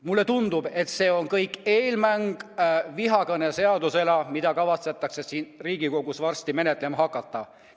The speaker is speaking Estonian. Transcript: Mulle tundub, et see kõik on eelmäng vihakõneseadusele, mida kavatsetakse siin Riigikogus varsti menetlema hakata.